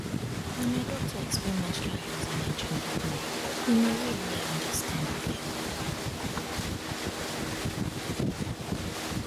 na my doctor explain menstrual health and hygiene give me in a way wey i understand well